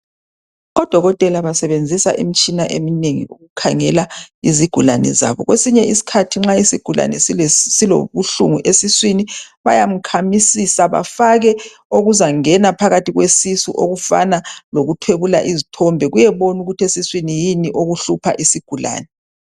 Odokotela basebenzisa imitshina eminengi, ukukhangela izigulane zabo. Kwesinye isikhathi nxa isigulane silobuhlungu esiswini, bayamkhamisisa. Bafake okuzangena phakathi kwesisu, okufana lokuthwebula uzithombe. Kuyeboba ukuthi esiswini, kuyini okuhlupha isigulane.